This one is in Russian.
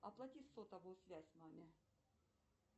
оплати сотовую связь маме